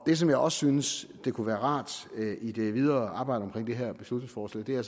det som jeg også synes kunne være rart i det videre arbejde med det her beslutningsforslag er